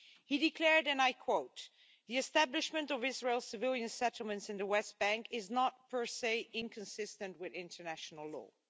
He declared, and I quote the establishment of Israel's civilian settlements in the West Bank is not, per se, inconsistent with international law'.